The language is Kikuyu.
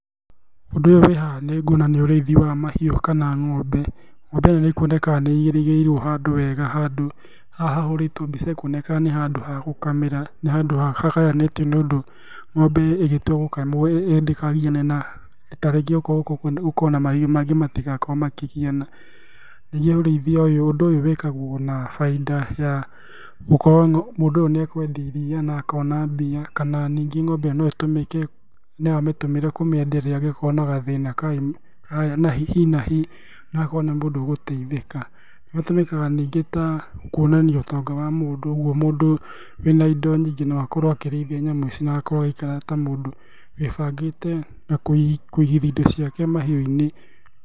Ũndũ ũyũ wĩ haha nĩnguona nĩ ũrĩithi wa mahiũ kana ng'ombe. Ng'ombe ĩyo nĩĩkuoneka nĩ ĩirigĩirwo handũ heega, handũ haha hahũrĩitwo mbica nĩhakuoneka nĩ handũ ha gũkamĩra. Nĩ handũ hagayanĩĩtio nĩũndũ ng'ombe ĩgĩtua gũkamwo ndĩkagiyane na, ta rĩngĩ okorwo gũũkũ gũkoragwo na mahiũ mangĩ matigaakorwo makĩgiyana. Ningĩ ũrĩithia ũyũ, ũndũ ũyũ wĩĩkagwo na bainda ya gũkorwo mũndũ ũyũ nĩakwendia iria na akoona mbia, kana ningĩ ng'ombe ĩyo no ĩtũmike no amĩtũmire kũmĩendia angĩkorwo na gathĩĩna ka hi na hi, na akorwo nĩ mũndũ ũgũteithĩka. Gatũmĩkaga ningĩ ta kuonania ũtonga wa mũndũ, ũguo mũndũ wĩ na indo nyingĩ no akorwo akĩrĩithia nyamũ ici na akorwo agĩikara ta mũndũ wĩĩbangĩte na kũigithia indo ciake mahiũinĩ.